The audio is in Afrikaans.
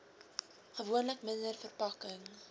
gewoonlik minder verpakking